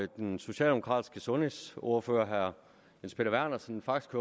den socialdemokratiske sundhedsordfører herre jens peter vernersen faktisk